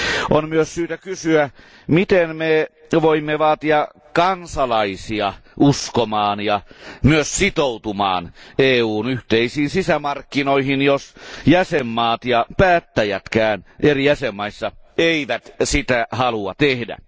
On myös syytä kysyä, miten me voimme vaatia kansalaisia uskomaan ja myös sitoutumaan EUn yhteisiin sisämarkkinoihin, jos jäsenvaltiot ja päättäjätkään eri jäsenvaltioissa eivät sitä halua tehdä.